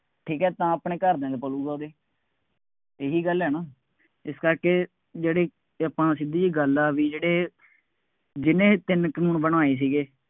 ਠੀਕ ਹੈ ਤਾਂ ਆਪਣੇ ਘਰਦਿਆਂ ਦਾ ਪਾਲੂਗਾ ਉਹ ਵੀ, ਇਹੀ ਗੱਲ ਹੈ ਨਾ, ਇਸ ਕਰਕੇ ਜਿਹੜੇ ਆਪਾਂ ਸਿੱਧੀ ਜਿਹੀ ਗੱਲ ਆ ਬਈ ਜਿਹੜੇ ਜਿਹਨੇ ਇਹ ਤਿੰਨ ਕਾਨੂੰਨ ਬਣਾਏ ਸੀਗੇ,